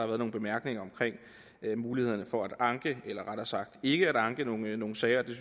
været nogle bemærkninger om mulighederne for at anke eller rettere sagt ikke at anke nogle sager og det